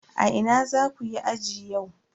A ina zaku yi aji yau?